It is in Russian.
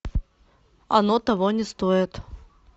оно того не стоит